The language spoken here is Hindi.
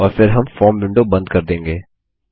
और फिर हम फॉर्म विंडो बंद कर देंगे